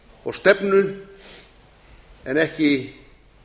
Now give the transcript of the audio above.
og stefnu en ekki